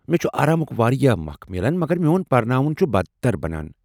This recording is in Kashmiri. مےٚ چُھ آرامُک واریاہ وخ میلان، مگر میٚون پرناوُن چُھ بدتربنان۔